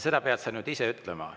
Seda pead sa nüüd ise ütlema.